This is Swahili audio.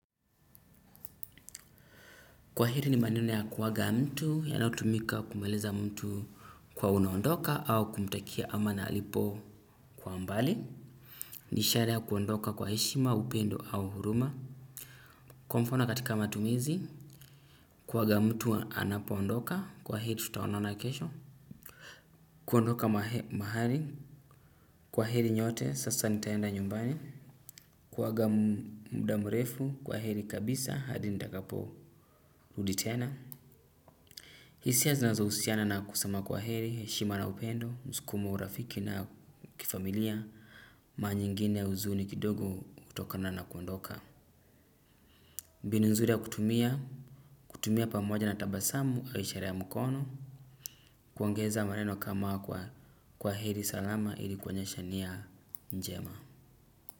Kwaheri ni maneno ya kuaga mtu yanayotumika kumweleza mtu kuwa unaondoka au kumtakia ama na alipo kwa mbali. Ni ishara ya kuondoka kwa heshima, upendo au huruma. Kwa mfano katika matumizi, kuaga mtu anapoondoka. Kwa heri tutaonaona kesho. Kuondoka mahali kwa heri nyote sasa nitaenda nyumbani. Kuaga muda mrefu. Kwa heri kabisa, hadi nitakapo rudi tena. Hisia zinazohusiana na kusema kwaheri, heshima na upendo, msukumo urafiki na kifamilia, mara nyingine huzuni kidogo hutokana na kuondoka. Mbinu nzuri ya kutumia, kutumia pamoja na tabasamu, kwa ishara ya mkono, kuongeza maneno kama kwaheri salama ili kuonyesha nia njema.